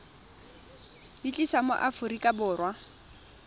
di tlisa mo aforika borwa